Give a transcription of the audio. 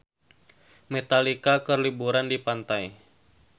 Metallica keur liburan di pantai